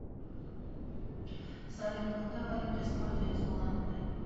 салют какая валюта используется в улан удэ